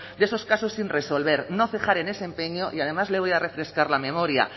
de esos casos sin resolver no cejar en ese empeño y además le voy a refrescar la memoria